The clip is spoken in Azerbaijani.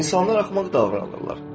İnsanlar axmaq davranırlar.